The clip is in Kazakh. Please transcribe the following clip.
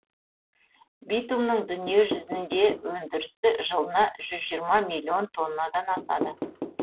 битумның дүниежүзінде өндірісі жылына жүз жиырма миллион тоннадан асады